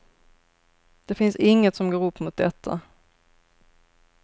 Det finns inget som går upp mot detta.